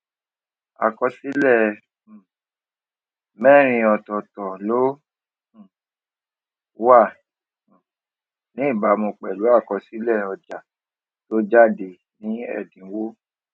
àkọsílè um mérin òtòòtò ló um wà um ní ìbámu pèlú àkọsílè ọjà tó jáde ní èdínwó